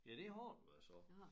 Ja det har det været så